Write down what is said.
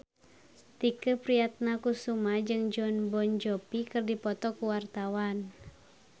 Tike Priatnakusuma jeung Jon Bon Jovi keur dipoto ku wartawan